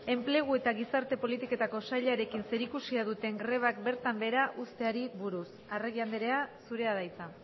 enplegu eta gizarte politiketako sailarekin zerikusia duten grebak bertan behera uzteari buruz arregi andrea zurea da hitza